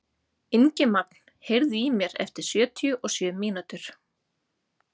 Ingimagn, heyrðu í mér eftir sjötíu og sjö mínútur.